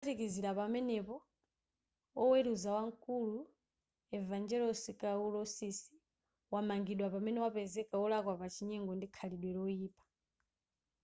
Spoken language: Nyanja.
kuphatikizira pamenepo oweruza wamkulu evangelos kalousisi wamangidwa pamene wapezeka wolakwa pa chinyengo ndi khalidwe loyipa